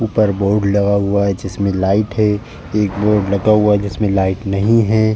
ऊपर बोर्ड लगा हुआ है जिसमें लाइट है। एक बोर्ड लगा हुआ है जिसमें लाइट नहीं है।